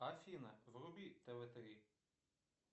афина вруби тв три